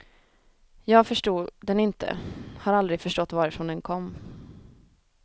Jag förstod den inte, har aldrig förstått varifrån den kom.